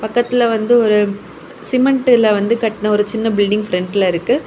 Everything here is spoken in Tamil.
பக்கத்துல வந்து ஒரு சிமெண்டுல வந்து கட்டுன ஒரு சின்ன பில்டிங் ஃப்ரெண்ட்ல இருக்கு.